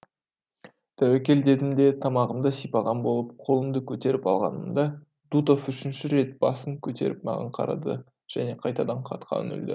тәуекел дедім де тамағымды сипаған болып қолымды көтеріп алғанымда дутов үшінші рет басын көтеріп маған қарады және қайтадан хатқа үңілді